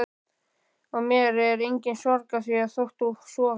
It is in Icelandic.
Og mér er engin sorg að því þótt þú sofir.